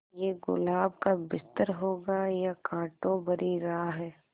ये गुलाब का बिस्तर होगा या कांटों भरी राह